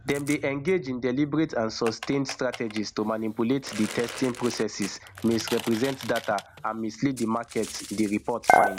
dem dey engage in deliberate and sustained strategies to manipulate di testing processes misrepresent data and mislead di market di report find